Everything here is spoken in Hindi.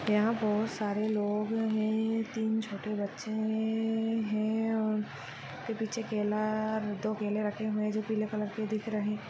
यहाँ बहुत सारे लोग है तीन छोटे बच्छे है हे है और उसके पीछे केला दो केले रखे हुए है जो पीले कलर रहे है।